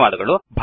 ಧನ್ಯವಾದಗಳು